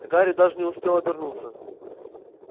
гарри даже не успел обернуться